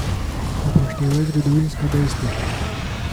Upoštevaj zgodovinska dejstva.